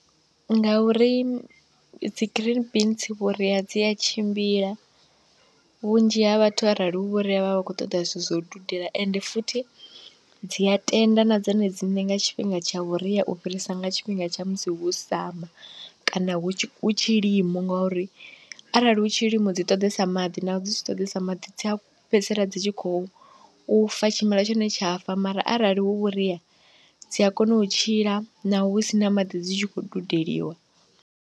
Ngauri dzi green beans vhuria dzi a tshimbila, vhunzhi ha vhathu arali hu vhuria vha vha vha khou ṱoḓa zwithu zwa u dudela, ende futhi dzi a tenda na dzone dziṋe nga tshifhinga tsha vhuria u fhirisa nga tshifhinga tsha musi hu summer kana hu tshi hu tshilimo, ngauri arali hu tshilimo dzi ṱoḓesa maḓi naho dzi tshi ṱoḓesa maḓi dzi a fhedzisela dzi tshi khou fa tshimela tshone tsha fa, mara arali hu vhuria dzi a kona u tshila naho hu sina maḓi dzi tshi khou dudeliwa.